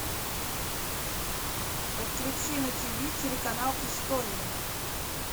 подключи на тиви телеканал история